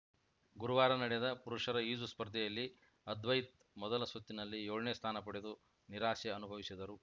ಗುರುವಾರ ನಡೆದ ಪುರುಷರ ಈಜು ಸ್ಪರ್ಧೆಯಲ್ಲಿ ಅದ್ವೈತ್‌ ಮೊದಲ ಸುತ್ತಿನಲ್ಲಿ ಯೊಳ ನೇ ಸ್ಥಾನ ಪಡೆದು ನಿರಾಸೆ ಅನುಭವಿಸಿದರು